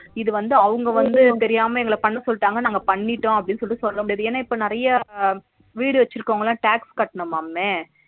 இது வந்து அவங்க வந்து தெரியாம எங்கள பண்ண சொல்லிட்டாங்க நாங்க பண்ணிட்டோம் அப்டினு சொல்லிட்டு சொல்ல முடியாது ஏனா இப்ப நிறைய வீடு வட்சியிருக்குரவங்களா tax கட்டணும்மாமே